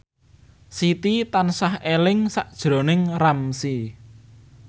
Siti tansah eling sakjroning Ramzy